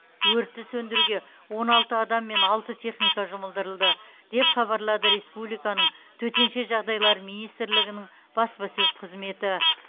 өртті сөндіруге он алты адам мен алты техника жұмылдырылды деп хабарлады республиканың төтенше жағдайлар министрлігінің баспасөз қызметі